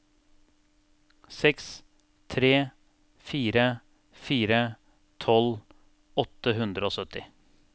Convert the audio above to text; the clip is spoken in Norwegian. seks tre fire fire tolv åtte hundre og sytti